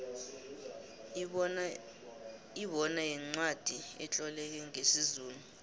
ibona yincwacli etloleke ngesizulu